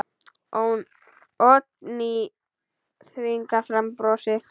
Oddný þvingar fram bros.